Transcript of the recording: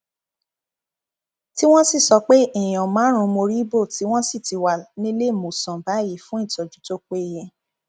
tí wọn sì sọ pé èèyàn márùnún mórí bọ tí wọn sì ti wà níléemọsán báyìí fún ìtọjú tó péye